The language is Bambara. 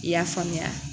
I y'a faamuya